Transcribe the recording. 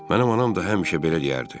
Mənim anam da həmişə belə deyərdi.